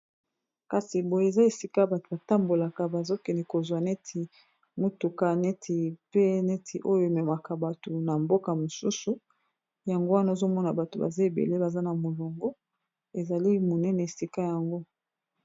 Kasi boye, eza esika bato batambolaka, bazokende kozwa neti motuka, neti pe oyo ememaka bato na mboka mosusu. Yango wana, ozomona bato baza ebele, baza na molongo. Ezali monene esika yango.